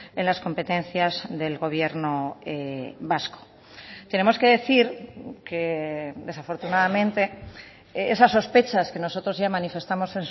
en las competencias del gobierno vasco tenemos que decir que desafortunadamente esas sospechas que nosotros ya manifestamos